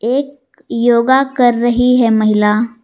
एक योगा कर रही है महिला।